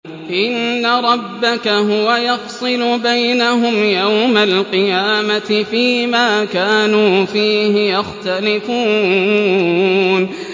إِنَّ رَبَّكَ هُوَ يَفْصِلُ بَيْنَهُمْ يَوْمَ الْقِيَامَةِ فِيمَا كَانُوا فِيهِ يَخْتَلِفُونَ